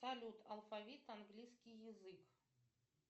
салют алфавит английский язык